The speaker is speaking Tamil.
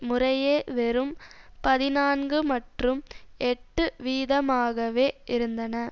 முறையே வெறும் பதினான்கு மற்றும் எட்டு வீதமாகவே இருந்தன